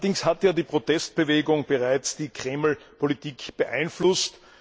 Allerdings hat ja die Protestbewegung bereits die Kreml Politik beeinflusst.